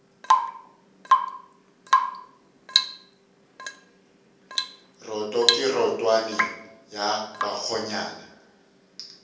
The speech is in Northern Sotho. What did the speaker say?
roto ke rotwane ya bakgonyana